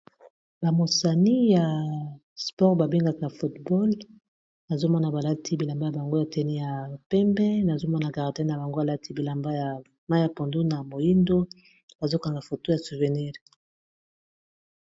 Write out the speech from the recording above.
Ba mosani ya sport babengaka football nazomona balati bilamba ya bango ya tenu ya pembe nazomona gardien na bango alati bilamba ya mayi ya pondu na moyindo bazokanga foto ya souvenir.